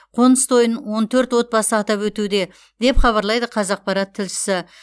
қоныс тойын он төрт отбасы атап өтуде деп хабарлайды қазақпарат тілшісі